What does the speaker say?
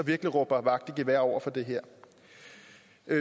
virkelig råber vagt i gevær over for det her